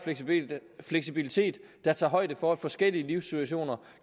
fleksibilitet der tager højde for at forskellige livssituationer